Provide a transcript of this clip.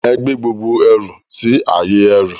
Ẹ gbé gbogbo ẹrù si ayé ẹrú